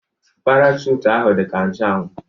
Parachute ahụ dị ka nche anwụ